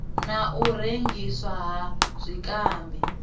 na u rengiswa ha zwikambi